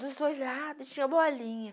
Dos dois lados tinha bolinha.